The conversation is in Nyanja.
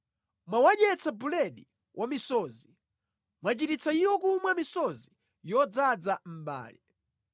Mwawadyetsa buledi wa misozi; mwachitisa iwo kumwa misozi yodzaza mbale.